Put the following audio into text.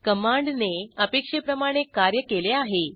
कमांडने अपेक्षेप्रमाणे कार्य केले आहे